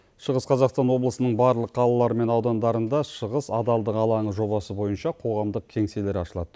шығыс қазақстан облысының барлық қалалары мен аудандарында шығыс адалдық алаңы жобасы бойынша қоғамдық кеңселер ашылады